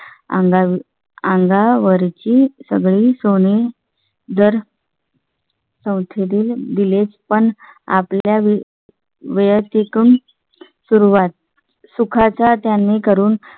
अंगावर अंगावर ची सगळी सोनी जर . चौथ्या दिल विलेज पण आपल्या वेळी सुरुवात सुखाचा त्यांनी करून